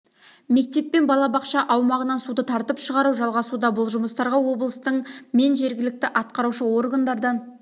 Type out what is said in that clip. мектеп пен балабақша аумағынан суды тартып шығару жалғасуда бұл жұмыстарға облыстың мен жергілікті атқарушы органдардан